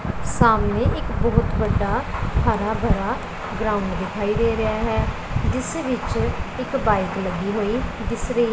ਸਾਹਮਣੇ ਇੱਕ ਬਹੁਤ ਵੱਡਾ ਹਰਾ ਭਰਾ ਗਰਾਊਂਡ ਦਿਖਾਈ ਦੇ ਰਿਹਾ ਹੈ ਜਿਸ ਵਿੱਚ ਇੱਕ ਬਾਈਕ ਲੱਗੀ ਹੋਈ ਦਿਸ ਰਹੀ--